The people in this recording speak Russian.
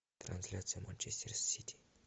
трансляция манчестер сити